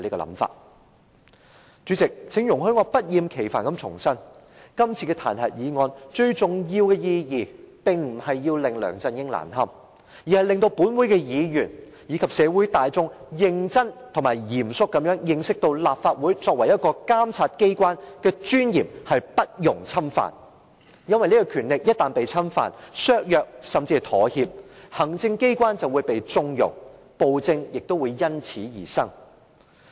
代理主席，請容許我不厭其煩地重申，今次的彈劾議案，最重要的意義並非要令梁振英難堪，而是令本會議員及社會大眾認真而嚴肅地認識到，立法會作為一個監察機關的尊嚴不容侵犯，因為這個權力一旦被侵犯、削弱，甚至妥協，行政機關便會被縱容，暴政亦會因此而生。